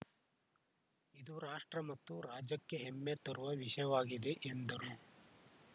ಇದು ರಾಷ್ಟ್ರ ಮತ್ತು ರಾಜ್ಯಕ್ಕೆ ಹೆಮ್ಮೆ ತರುವ ವಿಷಯವಾಗಿದೆ ಎಂದರು